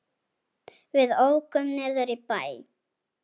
Við ókum niður í bæ.